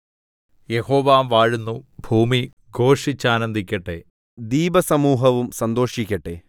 യഹോവ വാഴുന്നു ഭൂമി ഘോഷിച്ചാനന്ദിക്കട്ടെ ദ്വീപസമൂഹവും സന്തോഷിക്കട്ടെ